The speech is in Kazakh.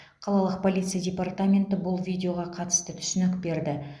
қалалық полиция департаменті бұл видеоға қатысты түсінік берді